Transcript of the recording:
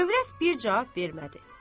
Övrət bir cavab vermədi.